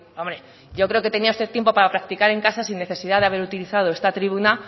hombre yo creo que tenía usted tiempo para practicar en casa sin necesidad de haber utilizado esta tribuna